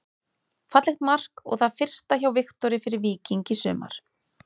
Fallegt mark og það fyrsta hjá Viktori fyrir Víking í sumar.